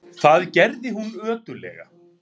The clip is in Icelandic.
Það gerði hún ötullega.